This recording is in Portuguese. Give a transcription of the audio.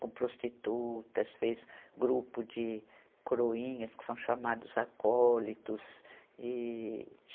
Com prostitutas, fez grupo de coroinhas, que são chamados acólitos. e